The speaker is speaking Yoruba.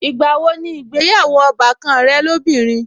Ìgbà wo ni ìgbéyàwó ọbàkan rẹ lóbìnrin?